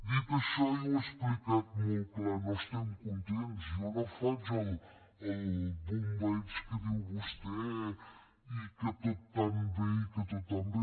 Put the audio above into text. dit això jo ho he explicat molt clar no estem contents jo no faig el bombeig que diu vostè i que tot tan bé i que tot tan bé